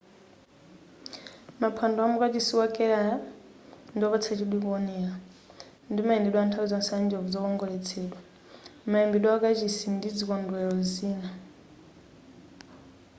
maphwando amu kachisi wa kerala ndiwopatsa chidwi kuonera ndi mayendedwe anthawi zonse a njovu zokongoletsedwa mayimbidwe amukachisi ndi zikondwelero zina